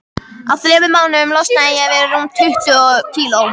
Á þremur mánuðum losnaði ég við rúm tuttugu kíló.